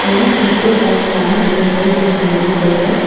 Many people are found inside this movie theatre.